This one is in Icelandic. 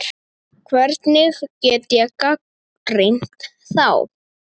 Hvernig get ég gagnrýnt þá?